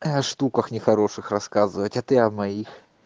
о штуках нехороших рассказывать а ты о моих